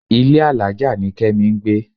Ilé alájà ni Kẹ́mi ń gbé.